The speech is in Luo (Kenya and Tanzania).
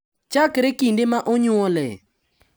Chakre kinde ma onyuolee,